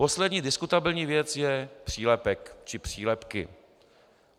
Poslední diskutabilní věc je přílepek či přílepky.